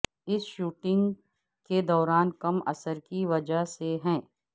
اس shooting کے دوران کم اثر کی وجہ سے ہے